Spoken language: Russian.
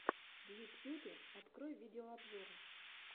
в ютьюбе открой видеообзоры